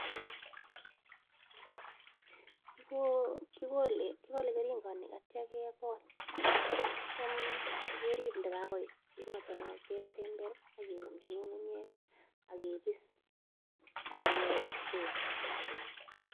Kigo kigole, kigole keringonik, atio kegol. Atiam, kerib ndagagoit kunotok no, kesember ageumchi ng'ung'unyek agebis, agesul.